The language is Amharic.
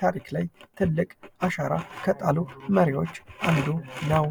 ታሪክ ላይ ትልቅ አሻራ ከጣሉ መሪዎች አንዱ ነው።